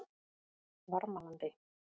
Varmalandi